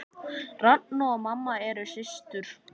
Ragna og mamma eru systur.